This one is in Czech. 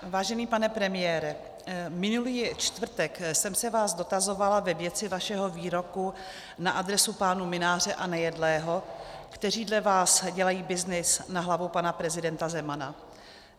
Vážený pane premiére, minulý čtvrtek jsem se vás dotazovala ve věci vašeho výroku na adresu pánů Mynáře a Nejedlého, kteří dle vás dělají byznys na hlavu pana prezidenta Zemana.